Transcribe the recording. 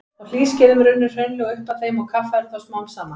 Á hlýskeiðum runnu hraunlög upp að þeim og kaffærðu þá smám saman.